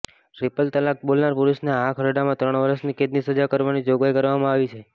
triple તલાક બોલનાર પુરુષને આ ખરડામાં ત્રણ વર્ષની કેદની સજા કરવાની જોગવાઈ કરવામાં આવી છે